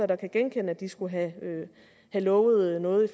der kan genkende at de skulle have lovet noget